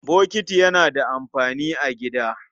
Bokiti yana da amfani a gida.